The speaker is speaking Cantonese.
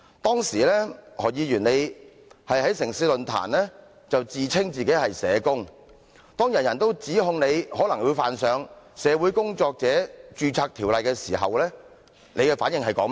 當時何議員在"城市論壇"自稱是社工，當人人都指控你，可能會犯上《社會工作者註冊條例》的時候，你的反應是甚麼？